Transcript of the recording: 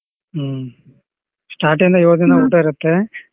ಹ್ಮ್ start ಇಂದ ಯೋಳ್ ದಿನ ಊಟ ಇರುತ್ತೆ.